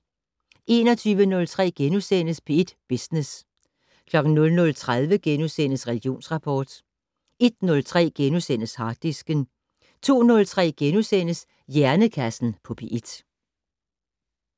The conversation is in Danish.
21:03: P1 Business * 00:30: Religionsrapport * 01:03: Harddisken * 02:03: Hjernekassen på P1 *